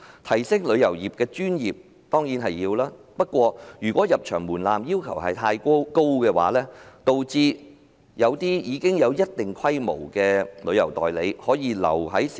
提升旅遊業的專業性當然重要，但如果入場門檻的要求過高，會導致一些有一定規模的旅行代理商壟斷市場。